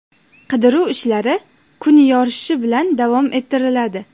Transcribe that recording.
Qidiruv ishlari kun yorishishi bilan davom ettiriladi.